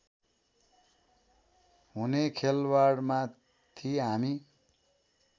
हुने खेलबाडमाथि हामी